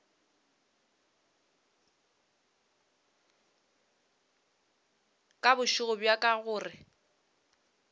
ka bošego bjo ka gore